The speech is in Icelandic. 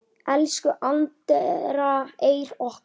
Elsku Andrea Eir okkar.